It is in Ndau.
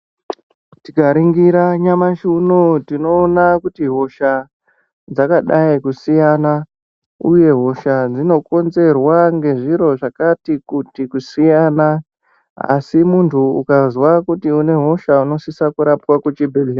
Tikaningira nyamashi unou tinoona kuti hosha dzakadayi kusiyana uye hosha dzinokonzerwa ngezviro zvakati kuti kusiyana asi munhu ukazwa kuti une hosha unosise kurapwa kuchibhedhlera.